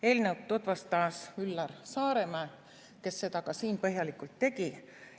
Eelnõu tutvustas Üllar Saaremäe, kes seda ka siin põhjalikult tegi.